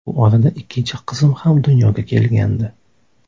Bu orada ikkinchi qizim ham dunyoga kelgandi.